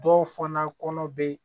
Dɔw fana kɔnɔ be